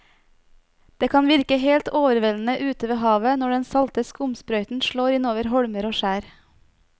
Det kan virke helt overveldende ute ved havet når den salte skumsprøyten slår innover holmer og skjær.